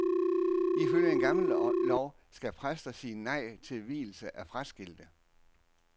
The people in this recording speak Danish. Ifølge en gammel lov kan præster sige nej til vielse af fraskilte.